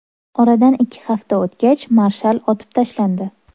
Oradan ikki hafta o‘tgach, marshal otib tashlandi.